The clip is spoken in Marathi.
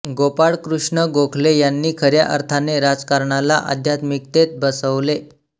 गोपाळकृष्ण गोखले यांनी खऱ्या अर्थाने राजकारणाला आध्यात्मिकतेत बसवले